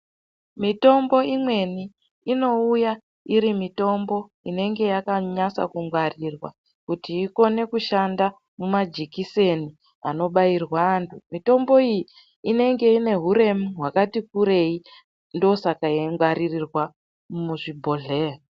Mitombo imweni inouya iri mitombo inenge yakanyasa kungwarirwa kuti ikone kushanda mumajikiseni anobairwa anhu. Mitombo iyi inenge ine huremu hwakati kurei ndoosaka yeingwaririrwa muzvibhohleya.